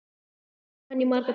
Ég var hjá henni í marga daga.